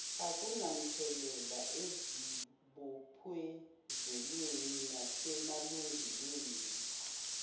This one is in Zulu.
akunamthelela ezibophezelweni nasemalungelweni